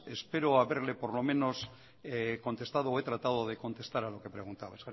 espero haberle por lo menos contestado he tratado de contestar a lo que preguntaba